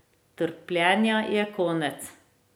Trpljenja je konec.